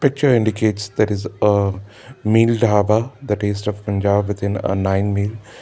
the picture indicates there is a mile dhaba the taste of punjab within nine mile.